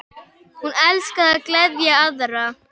Hún elskaði að gleðja aðra.